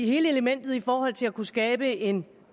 hele elementet i forhold til at kunne skabe en